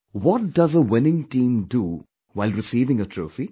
What does a winning team do while receiving the trophy